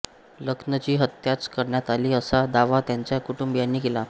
लखनची हत्याच करण्यात आली असा दावा त्याच्या कुटुंबीयांनी केला